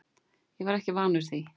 Ég var ekki vanur því.